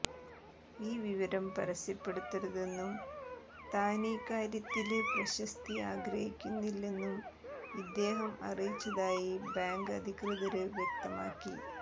ഈ വിവരം പരസ്യപ്പെടുത്തരുതെന്നും താനീക്കാര്യത്തില് പ്രശസ്തി ആഗ്രഹിക്കുന്നില്ലെന്നും ഇദ്ദേഹം അറിയിച്ചതായി ബാങ്ക് അധികൃതര് വ്യക്തമാക്കി